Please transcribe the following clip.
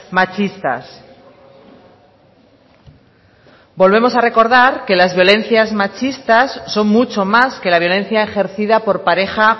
machistas volvemos a recordar que las violencias machistas son mucho más que la violencia ejercida por pareja